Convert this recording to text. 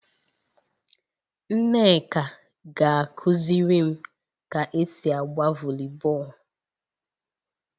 Nneka ga-akuzirim ka esi agba volleyball